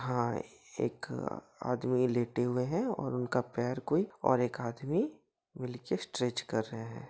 हाँ एक आदमी लेटे हुए है और उनका पैर कोई और एक आदमी लेके स्ट्रेच कर रहें है।